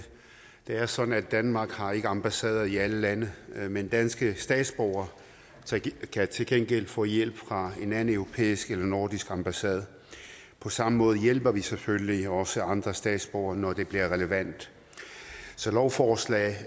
det er sådan at danmark ikke har ambassader i alle lande men danske statsborgere kan til gengæld få hjælp fra en anden europæisk eller nordisk ambassade på samme måde hjælper vi selvfølgelig også andre statsborgere når det bliver relevant så lovforslagets